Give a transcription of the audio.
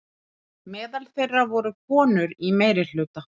Meðal þeirra voru konur í meirihluta.